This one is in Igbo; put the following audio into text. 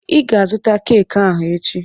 I ga azụta keeki ahụ echi!